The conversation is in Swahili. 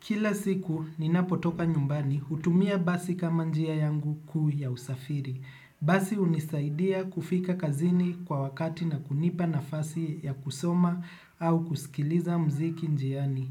Kila siku, ninapotoka nyumbani, hutumia basi kama njia yangu kuu ya usafiri. Basi unisaidia kufika kazini kwa wakati na kunipa nafasi ya kusoma au kusikiliza mziki njiani.